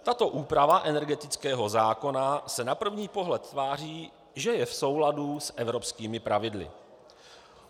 Tato úprava energetického zákona se na první pohled tváří, že je v souladu s evropskými pravidly.